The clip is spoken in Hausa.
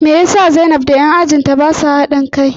Me yasa zainab da 'yan ajin ta basa bada hadin kai?